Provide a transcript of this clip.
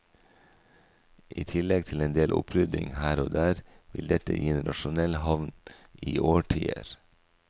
I tillegg til en del opprydning her og der vil dette gi en rasjonell havn i årtier.